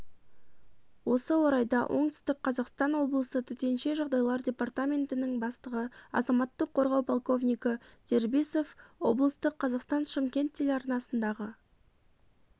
осы орайда оңтүстік қазақстан облысы төтенше жағдайлар департаментінің бастығы азаматтық қорғау полковнигі дербисов облыстық қазақстан-шымкент телеарнасындағы